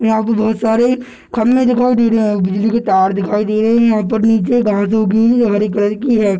यहाँ पे बहुत सारे खम्भे दिखाई दे रहे हैं और बिजली के तार दिखाई दे रहे हैं यहाँ पर नीचे घासों की हरी कलर की है।